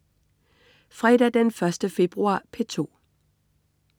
Fredag den 1. februar - P2: